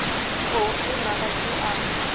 khou funa a tshi a